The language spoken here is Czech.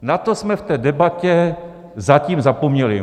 Na to jsme v té debatě zatím zapomněli.